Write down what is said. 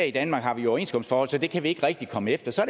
i danmark har vi overenskomstforhold så det kan vi ikke rigtig komme efter så